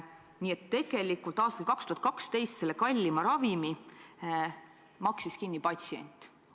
Nii et tegelikult maksis aastal 2012 selle kallima ravimi kinni patsient.